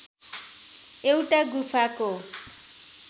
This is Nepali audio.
एउटा गुफाको